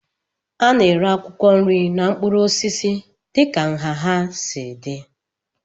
A na-ere akwụkwọ nri na mkpụrụ osisi dịka nha ha si dị